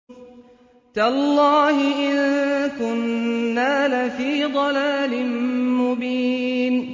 تَاللَّهِ إِن كُنَّا لَفِي ضَلَالٍ مُّبِينٍ